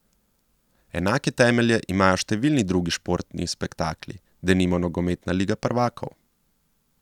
Enake temelje imajo številni drugi športni spektakli, denimo nogometna liga prvakov.